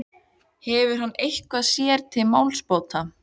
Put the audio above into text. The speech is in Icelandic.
Hefur hann eitthvað sér til málsbóta?